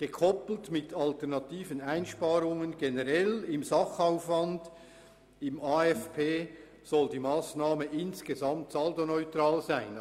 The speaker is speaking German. Gekoppelt mit alternativen Einsparungen beim Sachaufwand im AFP generell soll die Massnahme insgesamt saldoneutral sein.